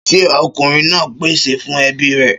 Ṣé ọkùnrin náà ń pèsè fún ebi rè?